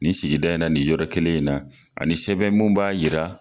Ni sigida in na, nin yɔrɔ kelen in na, ani sɛbɛn mun b'a jira